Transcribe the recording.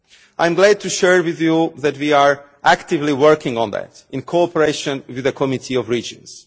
I am glad to share with you that we are actively working on that, in cooperation with the Committee of the Regions.